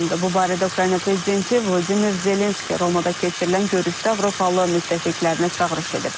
Bu barədə Ukrayna prezidenti Vladimir Zelenski Romada keçirilən görüşdə Avropalı müttəfiqlərinə çağırış edib.